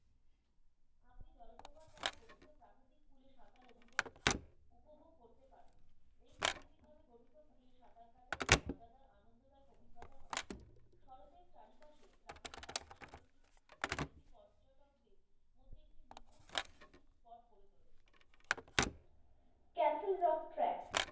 castle rock track,